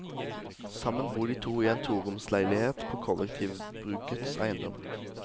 Sammen bor de to i en toroms leilighet på kollektivbrukets eiendom.